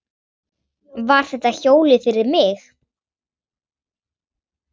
Var þetta hjólið fyrir mig?